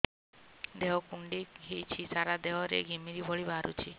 ଦେହ କୁଣ୍ଡେଇ ହେଉଛି ସାରା ଦେହ ରେ ଘିମିରି ଭଳି ବାହାରୁଛି